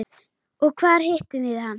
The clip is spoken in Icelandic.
Og hvar hittum við hann?